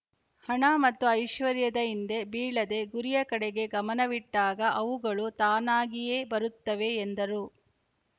ಹಣ ಮತ್ತು ಐಶ್ವರ್ಯದ ಹಿಂದೆ ಬೀಳದೇ ಗುರಿಯ ಕಡೆಗೆ ಗಮನವಿಟ್ಟಾಗ ಅವುಗಳು ತಾನಾಗಿಯೇ ಬರುತ್ತವೆ ಎಂದರು